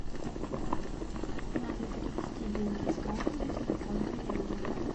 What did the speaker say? надо перевести деньги с карты на телефон коллеги